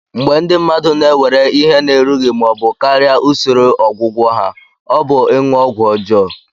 Mgbe ndị mmadụ na-ewere ihe na-erughị ma ọ bụ karịa usoro ọgwụgwọ ha, ọ bụ ịṅụ ọgwụ ọjọọ.